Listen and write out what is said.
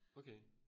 Okay